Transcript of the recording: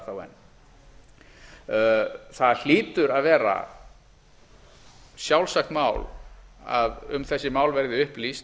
þá enn það hlýtur að vera sjálfsagt mál að um þessi mál verði upplýst